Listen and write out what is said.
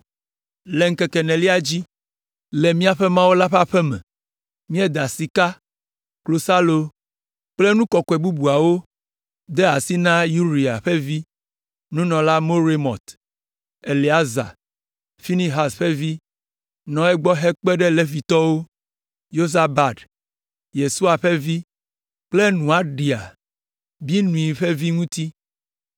Le ŋkeke enelia dzi, le míaƒe Mawu la ƒe aƒe me, míeda sika, klosalo kple nu kɔkɔe bubuawo de asi na Uria ƒe vi, nunɔla Meremot. Eleazar, Finehas ƒe vi, nɔ egbɔ hekpe ɖe Levitɔwo, Yozabad, Yesua ƒe vi kple Noadia, Binui ƒe vi ŋuti.